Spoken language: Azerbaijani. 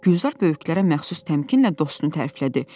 Gülzar böyüklərə məxsus təmkinlə dostunu təriflədi.